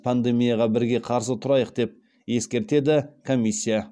пандемияға бірге қарсы тұрайық деп ескертеді комиссия